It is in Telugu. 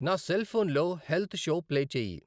నా సెల్ ఫోన్ లో హెల్త్ షో ప్లే చేయి.